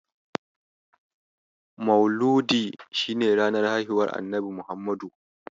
Mauludi shi ne ranar haihuwar Annabi Muhammadu.